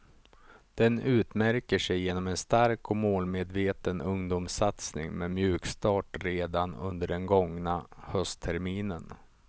Den utmärker sig genom en stark och målmedveten ungdomssatsning med mjukstart redan under den gångna höstterminen.